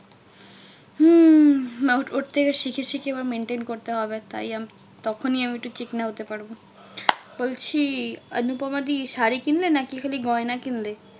হম ওর থেকে শিখে শিখে এবার maintain করতে হবে। তাই আমি তখনই আমি একটু হতে পারবো। বলছি অনুপমা দি শাড়ি কিনলে নাকি খালি গয়না কিনলে?